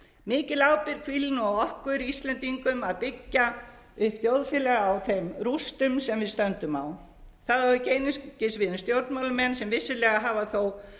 mikil ábyrgð hvílir nú á okkur íslendingum að byggja upp þjóðfélag á þeim rústum sem við stöndum á það á ekki einungis við um stjórnmálamenn sem vissulega hafa þó sóst